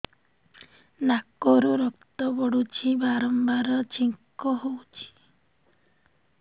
ନାକରୁ ରକ୍ତ ପଡୁଛି ବାରମ୍ବାର ଛିଙ୍କ ହଉଚି